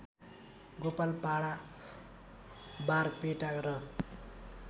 गोलपाडा बारपेटा र